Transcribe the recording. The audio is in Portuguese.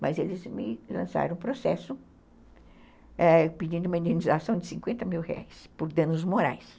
Mas eles me lançaram o processo pedindo uma indenização de cinquenta mil reais por danos morais.